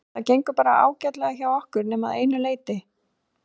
Það gengur bara ágætlega hjá okkur nema að einu leyti.